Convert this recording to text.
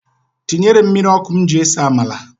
Tinyere m mmiri ọkụ m ji ese amala.